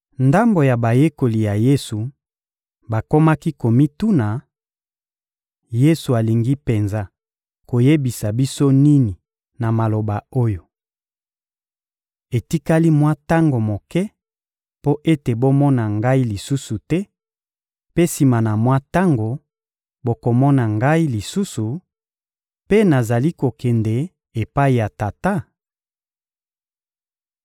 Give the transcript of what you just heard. Ndambo ya bayekoli ya Yesu bakomaki komituna: — Yesu alingi penza koyebisa biso nini na maloba oyo: «Etikali mwa tango moke mpo ete bomona Ngai lisusu te; mpe sima na mwa tango, bokomona Ngai lisusu» mpe «nazali kokende epai ya Tata?»